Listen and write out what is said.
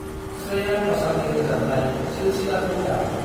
स्रेया गशाल रोजाबनाय सिलसिलाखौ दाम।